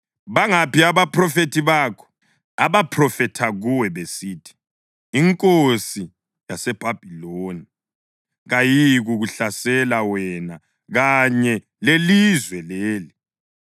Bangaphi abaphrofethi bakho abaphrofetha kuwe besithi, ‘Inkosi yaseBhabhiloni kayiyikukuhlasela wena kanye lelizwe leli’?